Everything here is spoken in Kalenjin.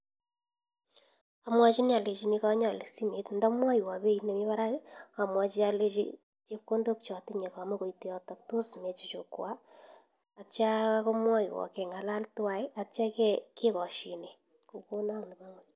Amwachinii alechinii kanyaalee simet ndamwaiwa beit nee mii barak amwachii alechechii chepkondok chatinye komaite yotok tos mee chuchukwa atya komwaiwa kengalal tuwaii atya kekashine kokona ak nepo ngony